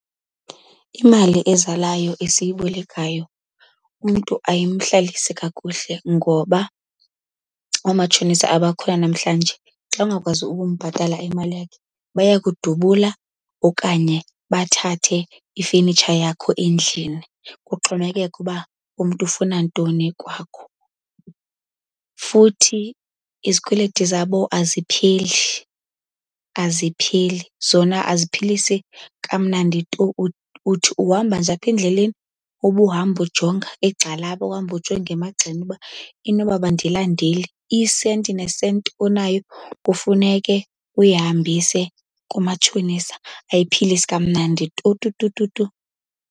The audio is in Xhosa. Imali ezalayo esiyibolekayo umntu ayimhlalisi kakuhle ngoba oomatshonisa abakhona namhlanje xa ungakwazi ukumbhatala imali yakhe, baya kudubula okanye bathathe ifenitsha yakho endlini kuxhomekeke uba umntu ufuna ntoni kwakho. Futhi izikweleti zabo azipheli, azipheli. Zona aziphilisi kamnandi tu. Uthi uhamba nje aphendleleni ubuhamba ujonga egxalaba, uhambe ujonga emagxeni uba inoba abandilandeli. Isenti nesenti onayo kufuneke uyihambise kumatshonisa. Ayiphilisi kamnandi tu tu tu tu tu.